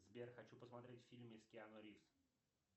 сбер хочу посмотреть фильмы с киану ривз